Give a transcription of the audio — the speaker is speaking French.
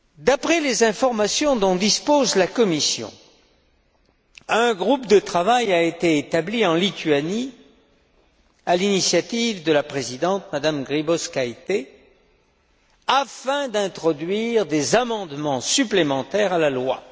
D'après les informations dont dispose la Commission, un groupe de travail a été établi en Lituanie à l'initiative de la présidente, M me Grybauskaité, afin d'introduire des amendements supplémentaires à la loi.